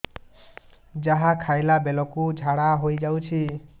ଯାହା ଖାଇଲା ବେଳକୁ ଝାଡ଼ା ହୋଇ ଯାଉଛି